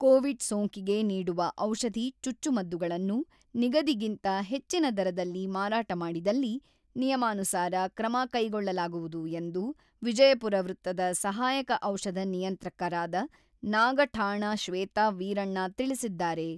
Covid ಸೋಂಕಿಗೆ ನೀಡುವ ಔಷಧಿ ಚುಚ್ಚುಮದ್ದುಗಳನ್ನು ನಿಗದಿಗಿಂತ ಹೆಚ್ಚಿನ ದರದಲ್ಲಿ ಮಾರಾಟ ಮಾಡಿದಲ್ಲಿ ನಿಯಮಾನುಸಾರ ಕ್ರಮ ಕೈಗೊಳ್ಳಲಾಗುವುದು ಎಂದು ವಿಜಯಪುರ ವೃತ್ತದ ಸಹಾಯಕ ಔಷಧ ನಿಯಂತ್ರಕರಾದ ನಾಗಠಾಣ ಶ್ವೇತಾ ವೀರಣ್ಣಾ ತಿಳಿಸಿದ್ದಾರೆ.